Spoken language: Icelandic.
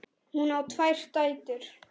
Hún á tvær dætur.